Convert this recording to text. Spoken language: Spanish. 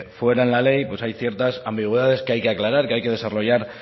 fuera la ley hay ciertas ambigüedades que hay que aclarar que hay que desarrollar